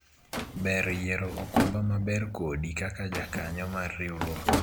ber yiero okumba ma ber kodi kaka jakanyo mar riwruok